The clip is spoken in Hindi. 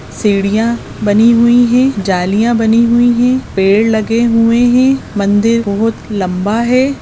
सीढ़ियां बनी हुई है जालियां बनी हुई है पेड़ लगे हुए है मंदिर बहुत लंबा है।